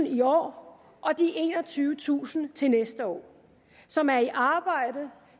i år og de enogtyvetusind til næste år som er i arbejde